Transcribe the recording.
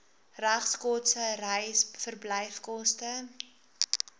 regskoste reis verblyfkoste